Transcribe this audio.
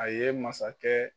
A ye masakɛ.